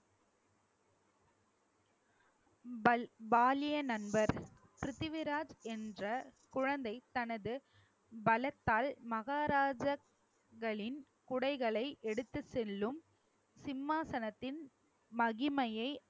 பல்~ பாலிய நண்பர் பிருத்திவிராஜ் என்ற குழந்தை தனது பலத்தால் மஹாராஜர்களின் குடைகளை எடுத்துச் செல்லும் சிம்மாசனத்தின் மகிமையை